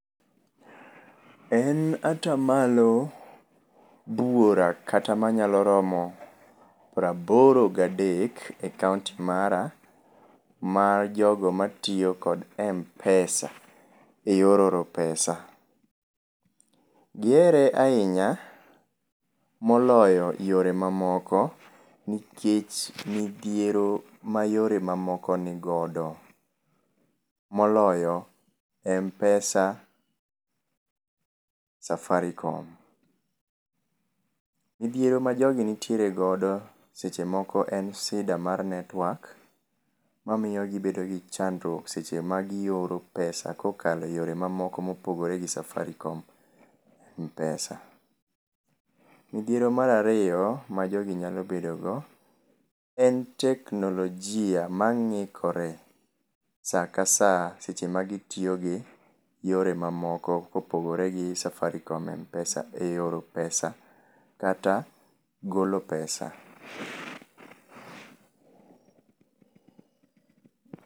En atamalo buora kata manyalo romo praboro gadek e kaunti mara mar jogo matiyo kod Mpesa eyor oro [cs[pesa. Gihere ahinya moloyo yore mamoko nikech midhiero ma yore mamoko nigodo moloyo Mpesa Safaricom. Midhiero ma jogi nitiere godo seche moko en sida mar network mamiyo gibedo gi chandruok seche ma gioro [cs[pesa kokalo yore mamoko mopogore gi Safaricom Mpesa. Midhiero mar ariyo ma jogi nyalo bedo go en teknolojia mangikore saa ka saa seche ma gitiyo gi yore mamoko kopogore gi Safaricom Mpesa e oro pesa kata golo pesa